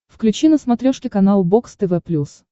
включи на смотрешке канал бокс тв плюс